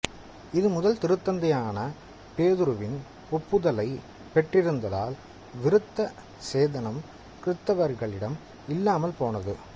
இது முதல் திருத்தந்தையான பேதுருவின் ஒப்புதலைப்பெற்றிருந்ததால் விருத்த சேதனம் கிறித்தவர்களிடம் இல்லாமல் போனது